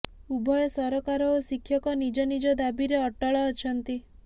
ଉଭୟ ସରକାର ଓ ଶିକ୍ଷକ ନିଜ ନିଜ ଦାବିରେ ଅଟଳ ଅଛନ୍ତି